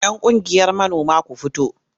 Yan ƙungiyar manoma ku fito!